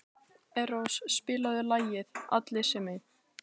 Eros, spilaðu lagið „Allir sem einn“.